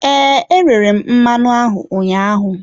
Ee, e rere m mmanụ ahụ ụnyaahụ.